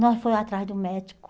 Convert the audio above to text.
Nós foi atrás do médico.